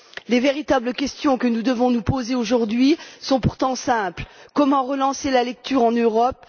Les véritables questions que nous devons nous poser aujourd'hui sont pourtant simples comment relancer la lecture en Europe?